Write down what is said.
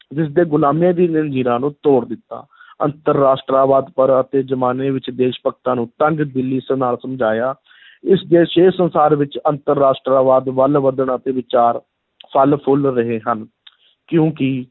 ਜਿਸ ਦੇ ਗੁਲਾਮੀ ਦੀ ਜ਼ੰਜੀਰਾਂ ਨੂੰ ਤੋੜ ਦਿੱਤਾ ਅੰਤਰ-ਰਾਸ਼ਟਰਵਾਦ ਪਰ ਅਤੇ ਜ਼ਮਾਨੇ ਵਿੱਚ ਦੇਸ਼-ਭਗਤਾਂ ਨੂੰ ਤੰਗ-ਦਿੱਲੀ ਸਮਝਾਇਆ ਇਸ ਦੇ ਛੇ ਸੰਸਾਰ ਵਿੱਚ ਅੰਤਰ-ਰਾਸ਼ਟਰਵਾਦ ਵੱਲ ਵਧਣਾ ਅਤੇ ਵਿਚਾਰ ਫਲ-ਫੁੱਲ ਰਹੇ ਹਨ ਕਿਉਂਕਿ